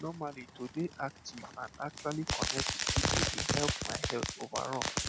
normally to dey active and actually connect with people dey help my health overall